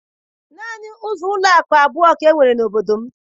Naanị ụlọakụ abụọ ka e nwere n'obodo m.